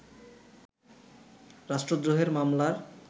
রাষ্ট্রদ্রোহের মামলার